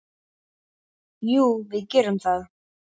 Jú, við gerum það.